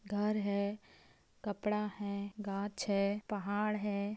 घर है कपड़ा है गाछ है पहाड़ है।